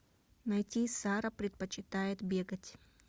найти сара предпочитает бегать